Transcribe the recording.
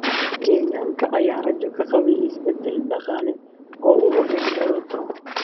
Kenyaanka ayaa rajo ka qabay isbedel dhaqaale oo uu hogaamiyo Ruto.